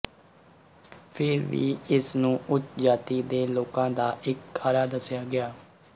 ਫਿਰ ਵੀ ਇਸ ਨੂੰ ਉੱਚ ਜਾਤੀ ਦੇ ਲੋਕਾਂ ਦਾ ਇੱਕ ਕਾਰਾ ਦੱਸਿਆ ਗਿਆ